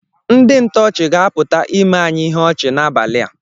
Ndị ntọọchị ga-apụta ime anyị ihe ọchị n’abalị a